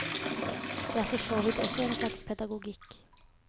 Det er for så vidt også en slags pedagogikk.